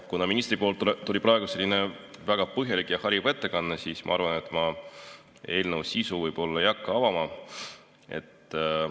Kuna ministrilt tuli selline väga põhjalik ja hariv ettekanne, siis ma arvan, et ma eelnõu sisu ei hakka avama.